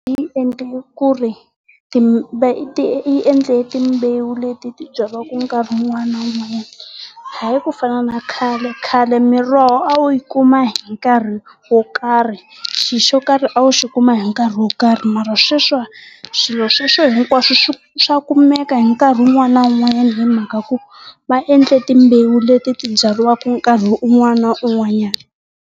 Yi endle ku ri yi endle timbewu leti byariwaka mikarhi wun'wana na wun'wana. Hayi ku fana na khale. Khale miroho a wu yi kuma hi nkarhi wo karhi. Xilo xo karhi a wu xi kuma hi nkarhi wo karhi mara sweswi wa swilo sweswo hinkwaswo swi swa kumeka hi nkarhi wun'wana na wun'wana hi mhaka ku va endle timbewu leti ti byariwaka nkarhi un'wana na un'wanyana.